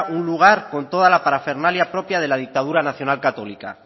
un lugar con toda la parafernalia propia de la dictadura nacional católica